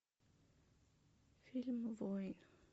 фильм воин